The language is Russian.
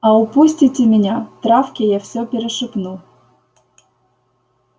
а упустите меня травке я все перешепну